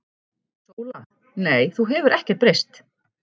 SÓLA: Nei, þú hefur ekkert breyst.